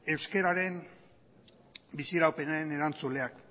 euskararen biziraupenaren erantzuleak